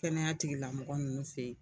Kɛnɛya tigilamɔgɔ ninnu fɛ yen